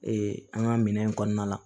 an ka minɛn in kɔnɔna la